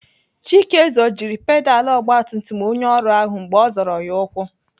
Chike zọjiri pedalụ ọgbatumtum onye ọrụ ahụ mgbe ọ zọrọ ya ukwu.